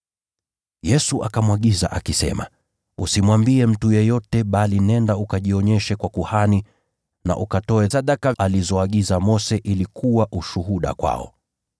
Yesu akamwagiza akisema, “Usimwambie mtu yeyote, bali nenda ukajionyeshe kwa kuhani na ukatoe sadaka alizoagiza Mose kwa utakaso wako, ili kuwa ushuhuda kwao.”